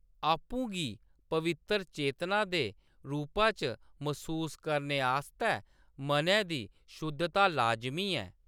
आपूं गी पवित्तर चेतना दे रूपा च मसूस करने आस्तै मनै दी शुद्धता लाजमी ऐ।